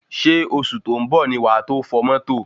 Ṣé oṣù tó ń bọ̀ ni wà tó fọ̀ mọ́tò?